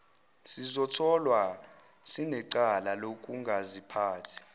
sizotholwa sinecala lokungaziphathi